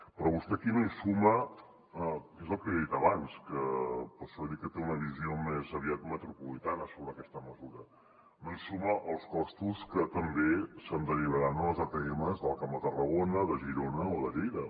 però vostè aquí no hi suma que és el que li he dit abans per això li he dit que té una visió més aviat metropolitana sobre aquesta mesura els costos que també se’n derivaran a les atms del camp de tarragona de girona o de lleida